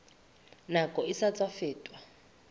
nakong e sa tswa feta